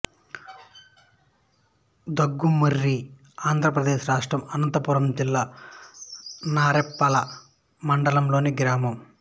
దుగ్గుమర్రి ఆంధ్ర ప్రదేశ్ రాష్ట్రం అనంతపురం జిల్లా నార్పల మండలం లోని గ్రామం